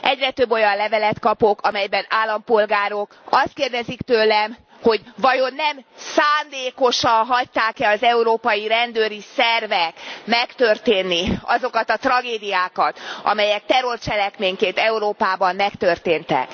Egyre több olyan levelet kapok, amelyben állampolgárok azt kérdezik tőlem, hogy vajon nem szándékosan hagyták e az európai rendőri szervek megtörténni azokat a tragédiákat, amelyek terrorcselekményként Európában megtörténtek.